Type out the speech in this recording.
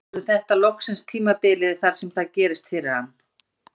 Verður þetta loksins tímabilið þar sem það gerist fyrir hann?